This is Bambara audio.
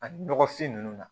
Ani nɔgɔfin ninnu na